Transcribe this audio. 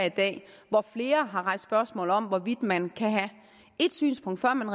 i dag hvor flere har rejst spørgsmålet om hvorvidt man kan have et synspunkt før man